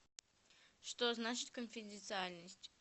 что значит конфиденциальность